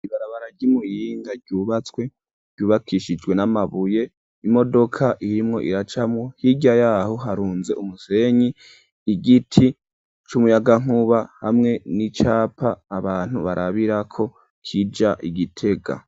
Ibarabara ry'imuyinga ryubatswe ryubakishijwe n'amabuye imodoka irimwo iracamo hirya yaho harunze umusenyi igiti c'umuyagankuba hamwe n'icapa abantu barabirako kija Igitega.